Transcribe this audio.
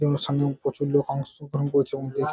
এবং সামনে প্রচুর লোক অংশগ্রহণ করছে ।--